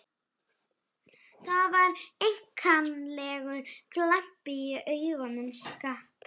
Það var einkennilegur glampi í augum Skapta.